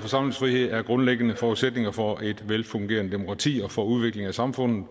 forsamlingsfriheden er grundlæggende forudsætninger for et velfungerende demokrati og for udviklingen af samfundet